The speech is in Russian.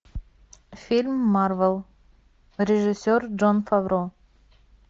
фильм марвел режиссер джон фавро